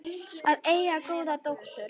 Að eiga góða dóttur.